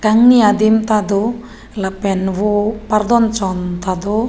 kangni adim ta do lapen vo pardonchon ta do.